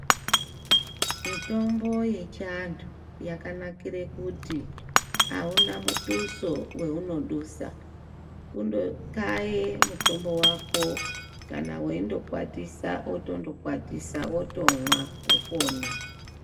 Mitombo yechiantu yakanakire kuti, auna muduso weunodusa. Kundokaye mutombo wako kana weindokwatisa, wotondokwatisa ,wotomwa wopona.